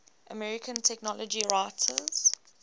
american technology writers